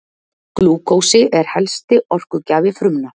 Glúkósi er helsti orkugjafi frumna.